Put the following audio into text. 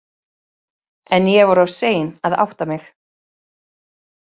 En ég var of sein að átta mig.